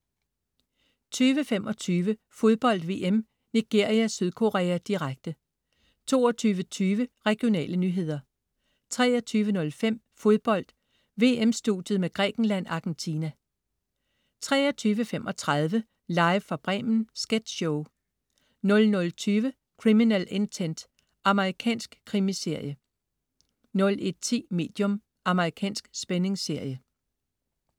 20.25 Fodbold VM: Nigeria-Sydkorea, direkte 22.20 Regionale nyheder 23.05 Fodbold: VM-studiet med Grækenland-Argentina 23.35 Live fra Bremen. Sketchshow 00.20 Criminal Intent. Amerikansk krimiserie 01.10 Medium. Amerikansk spændingsserie